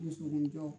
Muso ni jɔ